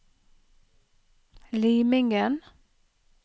Limingen